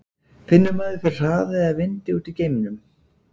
finnur maður fyrir hraða eða vindi úti í geimnum